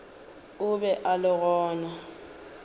o be a le gona